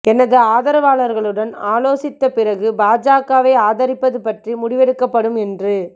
எனது ஆதரவாளர்களுடன் ஆலோசித்த பிறகு பாஜகவை ஆதரிப்பது பற்றி முடிவெடுக்கப்படும் என்று